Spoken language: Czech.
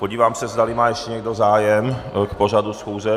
Podívám se, zdali má ještě někdo zájem k pořadu schůze.